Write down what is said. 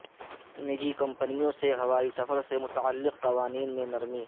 نجی کمپنیوں سے ہوائی سفر سے متعلق قوانین میں نرمی